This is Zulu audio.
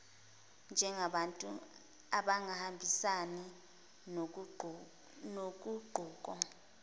njengabantu abangahambisani noguquko